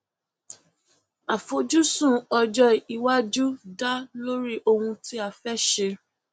àfojúsùn ọjọ iwájú dá lórí ohun tí a fẹ ṣe